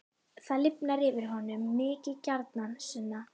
Það lifnar yfir honum: Mikið gjarnan, Sunna.